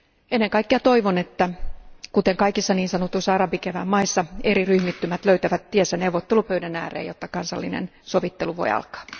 Ennen kaikkea toivon, että kuten kaikissa niin sanotuissa arabikevään maissa eri ryhmittymät löytävät tiensä neuvottelupöydän ääreen, jotta kansallinen sovittelu voi alkaa.